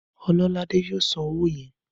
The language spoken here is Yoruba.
Ọlọ́ládé yóò san owó yẹn.